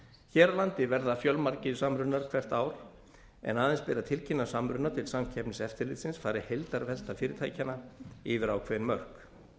hér á landi verða fjölmargir samrunar hvert ár en aðeins ber að tilkynna samruna til samkeppniseftirlitsins fari heildarvelta fyrirtækjanna yfir ákveðin mörk